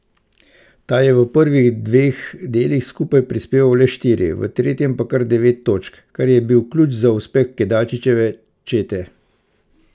Ta je v prvih dveh delih skupaj prispeval le štiri, v tretjem pa kar devet točk, kar je bil ključ za uspeh Kedačičeve čete.